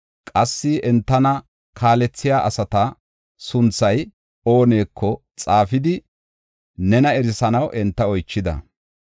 Qassi entana kaalethiya asata sunthay ooneko xaafidi nena erisanaw enta oychida.